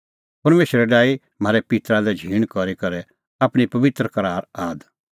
परमेशरै डाही म्हारै पित्तरा लै झींण करी करै आपणीं पबित्र करार आद